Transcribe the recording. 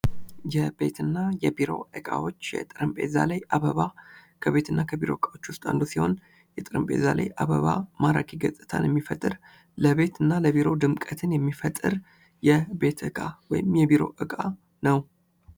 የቤት እና የቢሮ እቃዎች ። የጠረጴዛ ላይ አበባ ከቤት እና ከቢሮ እቃዎች ውስጥ አንዱ ሲሆን የጠረጴዛ ላይ አበባ ማራኪ ገፅታን የሚፈጥር ለቤት እና ለቢሮ ድምቀትን የሚፈጥር የቤት እቃ ወይም የቢሮ እቃ ነው ።